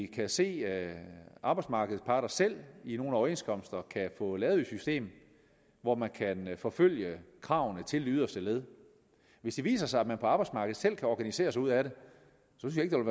kan se at arbejdsmarkedets parter selv i nogle overenskomster kan få lavet et system hvor man kan forfølge kravene til det yderste led hvis det viser sig at man på arbejdsmarkedet selv kan organisere sig ud af det synes jeg ikke